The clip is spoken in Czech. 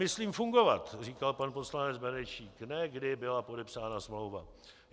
Myslím fungovat, říkal pan poslanec Benešík, ne kdy byla podepsána smlouva.